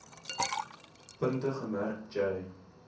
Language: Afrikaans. punt gemerk j